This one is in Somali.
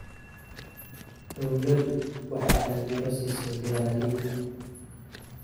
Dawladdu waxay taageero siisaa beeralayda.